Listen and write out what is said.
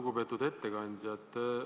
Lugupeetud ettekandja!